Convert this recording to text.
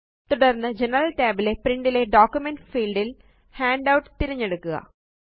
തുടര്ന്ന് general tab ലെPrint ലെ ഡോക്യുമെന്റ് fieldൽ ഹാൻഡൌട്ട് തിരഞ്ഞെടുക്കുക